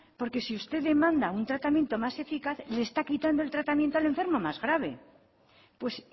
porque si usted demanda un tratamiento más eficaz le está quitando el tratamiento al enfermo más grave pues